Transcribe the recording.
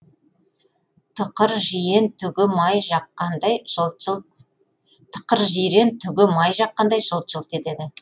тықыр жирен түгі май жаққандай жылт жылт етеді